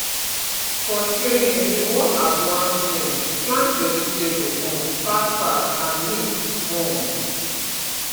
for training we work as one team plant vegetable um fastfast and neat um